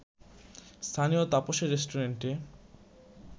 স্থানীয় তাপসের রেস্টুরেন্টে